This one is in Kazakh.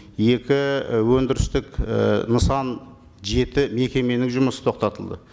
екі өндірістік і нысан жеті мекеменің жұмысы тоқтатылды